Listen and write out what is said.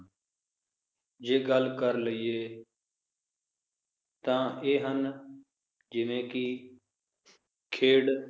ਜੇ ਗੱਲ ਕਰ ਲਇਏ ਤਾਂ ਇਹ ਹਨ, ਜਿਵੇ ਕਿ ਖੇਡ